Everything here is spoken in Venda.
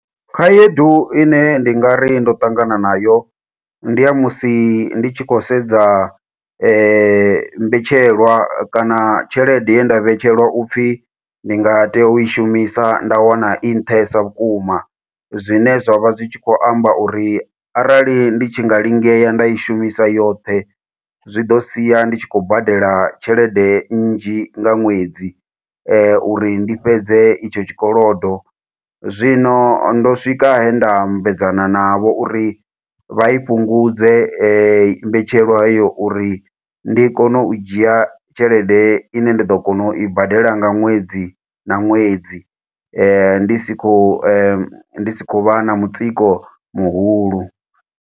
Khaedu ine ndi nga ri ndo ṱangana nayo, ndi ya musi ndi tshi khou sedza mbetshelwa kana tshelede ye nda vhetshelwa upfi ndi nga tea u i shumisa. Nda wana i nṱhesa vhukuma, zwine zwa vha zwi tshi khou amba uri, arali ndi tshi nga lingea nda i shumisa yoṱhe. Zwi ḓo sia ndi tshi khou badela tshelede nnzhi nga ṅwedzi, uri ndi fhedze itsho tshikolodo. Zwino ndo swika he nda ambedzana navho uri, vha i fhungudze mbetshelwa heyo uri ndi kone u dzhia tshelede ine nda ḓo kona u i badela nga ṅwedzi na ṅwedzi. Ndi si khou, ndi si khou vha na mutsiko muhulu.